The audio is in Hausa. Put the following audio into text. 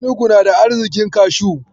Inugu na da arziƙin kashu.